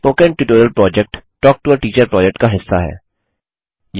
spoken tutorial project talk to a teacher project का हिस्सा है